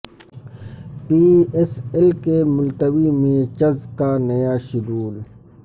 پی S L کے ملتوی matches کا نیا شیڈول